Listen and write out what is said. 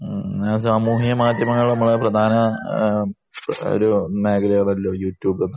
അങ്ങനെ സാമൂഹ്യ മാധ്യമങ്ങൾ നമ്മളെ ഒരു പ്രധാന മേഖല യൂട്യൂബ് ഒക്കെ